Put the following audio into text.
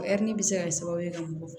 O ɛri bɛ se ka kɛ sababu ye ka mɔgɔ